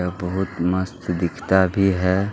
यह बहुत मस्त दिखता भी है।